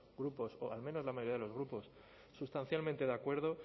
grupos o al menos la media de los grupos sustancialmente de acuerdo